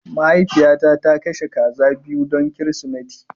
Mahaifiyata ta kashe kaza biyu don Kirsimeti